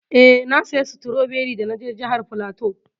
Eh, na saya stroberi da na je jihar flatu.